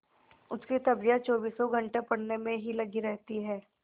उसकी तबीयत चौबीसों घंटे पढ़ने में ही लगी रहती है